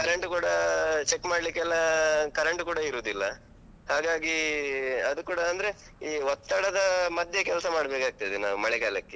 Current ಕೂಡ. check ಮಾಡ್ಲಿಕ್ಕೆಲ್ಲ ಆಹ್ current ಕೂಡ ಇರುದಿಲ್ಲ ಹಾಗಾಗಿ ಅದು ಕೂಡ ಅಂದ್ರೆ ಈ ಒತ್ತಡದ ಮಧ್ಯೆ ಕೆಲ್ಸ ಮಾಡ್ಬೇಕಾಗ್ತದೆ ನಾವು ಮಳೆಗಾಲಕ್ಕೆ.